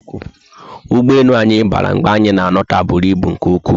Ụgbọelu anyị bara mgbe anyị na alota bụrụ ibu nke ụkwụ